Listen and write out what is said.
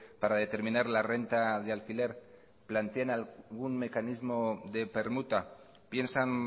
para determinar la renta de alquiler plantean algún mecanismo de permuta piensan